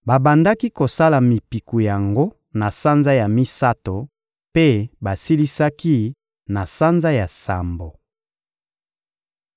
Babandaki kosala mipiku yango na sanza ya misato mpe basilisaki na sanza ya sambo.